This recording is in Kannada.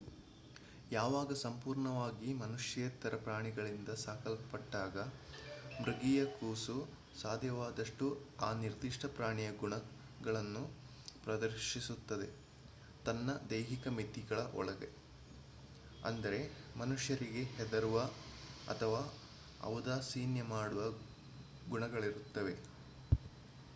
ಯಾವಾಗ ಸಂಪೂರ್ಣವಾಗಿ ಮನುಷ್ಯೇತರ ಪ್ರಾಣಿಗಳಿಂದ ಸಾಕಲ್ಪಟ್ಟಾಗ ಮೃಗೀಯ ಕೂಸು ಸಾಧ್ಯವಾದಷ್ಟು ಆ ನಿರ್ದಿಷ್ಟ ಪ್ರಾಣಿಯ ಗುಣಗಳನ್ನು ಪ್ರದರ್ಶಿಸುತ್ತದೆ ತನ್ನ ದೈಹಿಕ ಮಿತಿಗಳ ಒಳಗೆ ಅಂದರೆ ಮನುಷ್ಯರಿಗೆ ಹೆದರುವ ಅಥವಾ ಔದಾಸೀನ್ಯ ಮಾಡುವ ಗುಣಗಳಿರುತ್ತವೆ